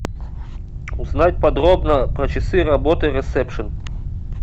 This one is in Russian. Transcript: узнать подробно про часы работы ресепшн